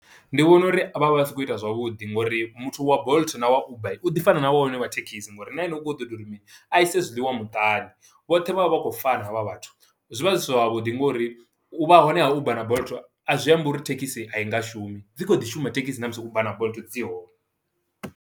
Ndi vhona uri vha vha, vha si khou ita zwavhuḓi ngo uri muthu wa Bolt na wa Uber, u ḓi fana na wa hone wa thekhisi, ngo uri na ene u kho ita uri mini, a i se zwiḽiwa muṱani. Vhoṱhe vha vha vha khou fana ha vha vhathu, zwi vha zwi si zwavhuḓi ngo uri u vha hone ha Uber na Bolt, a zwi ambi uri thekhisi a i nga shumi, dzi kho ḓi shuma thekhisi na musi Uber na Bolt dzi hone.